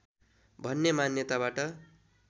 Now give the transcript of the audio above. भन्ने मान्यताबाट